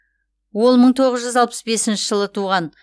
ол мың тоғыз жүз алпыс бесінші жылы туған